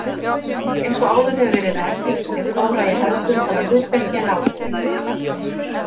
Eins og áður hefur verið rakið er Þóra í hefðbundnara hlutverki en Áslaug.